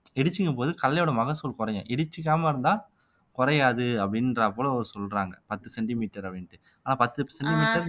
இடிச்சிக்கும் போது கடலையோட மகசூல் குறையும் இடிச்சிக்காம இருந்தா குறையாது அப்படின்றாப்ல சொல்றாங்க பத்து சென்டிமீட்டர் அப்படின்னுட்டு ஆனா பத்து சென்டிமீட்டர்